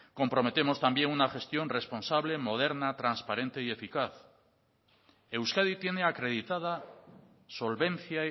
comprometemos también una gestión responsable moderna transparente y eficaz euskadi tiene acreditada solvencia